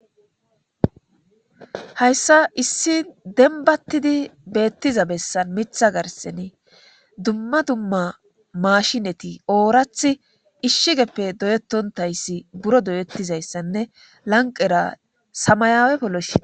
hayssa issi denbattidi beettiza bessan mitha garseni dumma dumma mashineti oorath ishshigeppe doyetontayssi buro doyettizayssanne lanqera samayaawe polloshi